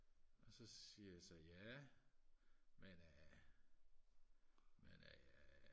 og så siger jeg så ja men øh men øh